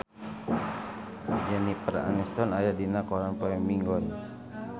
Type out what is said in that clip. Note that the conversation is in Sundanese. Jennifer Aniston aya dina koran poe Minggon